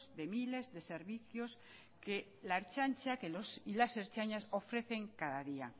de miles de servicios que la ertzaintza y que los y las ertzainas ofrecen cada día